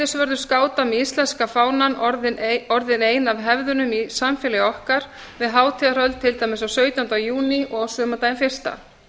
heiðursvörður skáta með íslenska fánann orðin ein af hefðunum í samfélagi okkar við hátíðahöld til dæmis á sautjánda júní og á sumardaginn fyrsta